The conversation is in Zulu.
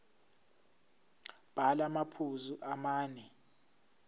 bhala amaphuzu amane